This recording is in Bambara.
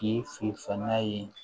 K'i fin fanga ye